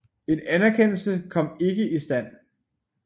En anerkendelse kom ikke i stand